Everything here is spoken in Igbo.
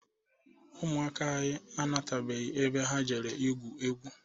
Ụmụaka anyị anatabeghị ebe ha jere igwu egwu.